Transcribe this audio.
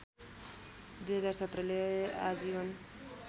२०१७ ले आजीवन